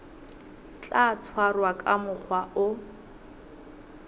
tla tshwarwa ka mokgwa o